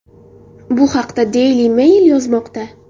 Bu haqda Daily Mail yozmoqda .